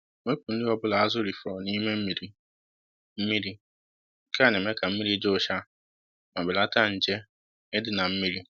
Wepụ nri ọbụla azụ rifọrọ n'ime mmiri. mmiri. Nke a na-eme ka mmiri dị ụcha ma belata nje ịdị na mmiri